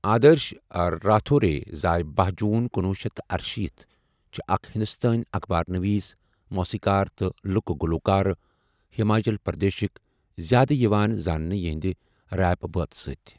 آدٲرٕش راتھورے زاے باہَ جوٗن کُنوُہ شیتھ تہٕ ارشیٖتھ چھِ اَکھ ہِنٛدوستٲنی اخبار نویٖس، موٗسیٖکار تہٕ لُکہٕ گلوٗکار ہماچل پردیشٕکۍ، زیٛادٕ یوان زانٔنہٕ یِہنٛدِ ریپ بٲتھ سۭتۍ۔